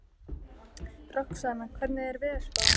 Roxanna, hvernig er veðurspáin?